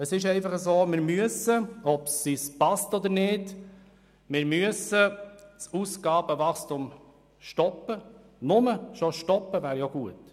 Es ist einfach so: Wir müssen, ob es uns passt oder nicht, das Ausgabenwachstum stoppen, nur schon stoppen wäre gut.